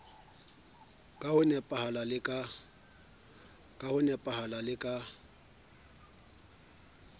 ka ho nepahala le ka